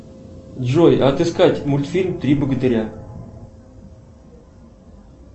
джой отыскать мультфильм три богатыря